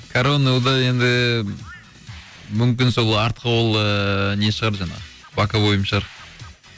коронный удар енді ііі мүмкін сол артқы қол ыыы не шығар жаңағы боковойым шығар